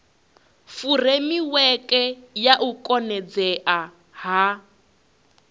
furemiweke ya u konadzea ha